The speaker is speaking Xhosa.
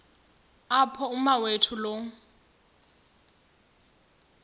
apho umawethu lo